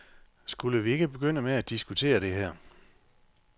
Skulle vi ikke begynde med at diskutere det her?